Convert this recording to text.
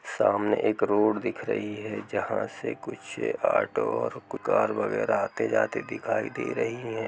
सामने एक रोड दिख रही है जहां से कुछ ऑटो और कार वगैरा आते जाते दिखाई दे रही हैं।